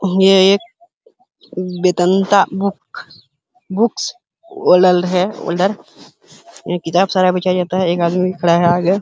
हे एक Vedanta book books वॉडल्ड है वोल्डर वर्ल्ड यहाँ किताब सारा बिछाया जाता है। एक आदमी भी खड़ा है आगे।